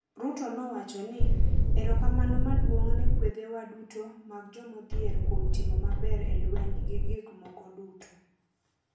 Ruto nowacho ni, erokamano maduong’ ne kwedhewa duto mag jomodhier kuom timo maber e lweny gi gik moko duto.